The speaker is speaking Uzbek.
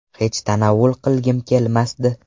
Hech tanovul qilgim kelmasdi.